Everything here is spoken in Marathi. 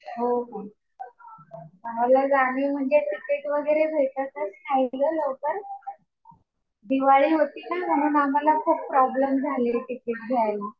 हो हो. मला जाणं आहे. पण ते तिकीट वगैरे भेटतच नाही गं लवकर. दिवाळी होतीना म्हणून आम्हाला खूप प्रॉब्लेम्स झाले तिकीट घ्यायचे.